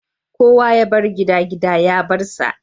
Kowa yabar gida, gida ya barsa.